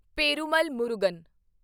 Perumal Murugan